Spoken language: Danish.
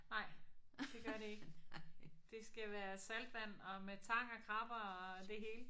Nej det gør det ikke. Det skal være saltvand og med tang og krabber og det hele